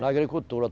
Na agricultura.